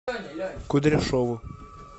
кудряшову